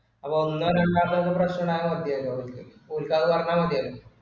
അത് ഒന്നോരണ്ടോക്കോ ഒരു പ്രശ്‍നും ഇല്ലാന്ന് മതിയാരുന്നു അവർക്ക് പോയിറ്റാന്ന് പറഞ്ഞാമതിയായിരുന്നു